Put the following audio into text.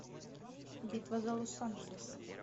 битва за лос анджелес